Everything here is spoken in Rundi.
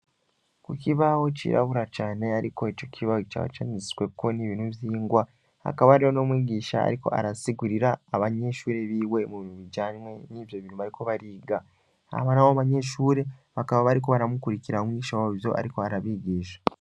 Ku kibaho cirabura cane, ariko eco kibawe gico abacanitswewo n'ibintu vyingwa hakaba ari ho no mwigisha, ariko arasigurira abanyeshure biwe mu biubijanywe n'ivyo birumariko bariga abana abo banyeshure bakaba bariko baramukurikira mwisha wo vyo, ariko arabigisha.